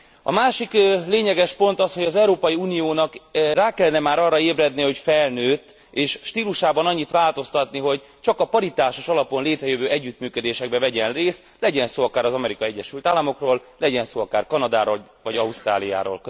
A másik lényeges pont az, hogy az Európai Uniónak rá kellene már arra ébredni, hogy felnőtt, és stílusában annyit változtatni, hogy csak a paritásos alapon létrejövő együttműködésekben vegyen részt, legyen szó akár az Amerikai Egyesült Államokról, legyen szó akár Kanadáról vagy Ausztráliáról.